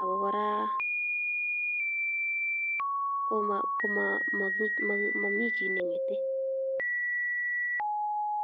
ako kora momi chi neng'ete.